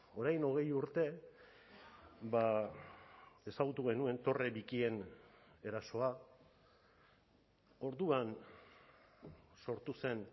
orain hogei urte ezagutu genuen torre bikien erasoa orduan sortu zen